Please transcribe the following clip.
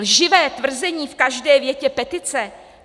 Lživé tvrzení v každé větě petice?